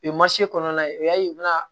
U ye kɔnɔna ye o y'a ye u bɛna